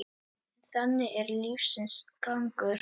En þannig er lífsins gangur.